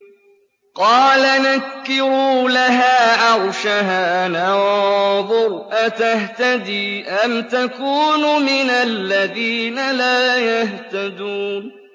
قَالَ نَكِّرُوا لَهَا عَرْشَهَا نَنظُرْ أَتَهْتَدِي أَمْ تَكُونُ مِنَ الَّذِينَ لَا يَهْتَدُونَ